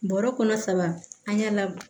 Bɔrɔ kɔnɔ saba an y'a la